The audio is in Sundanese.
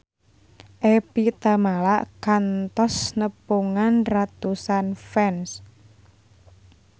Evie Tamala kantos nepungan ratusan fans